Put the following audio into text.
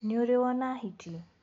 Nĩũrĩ wona hiti?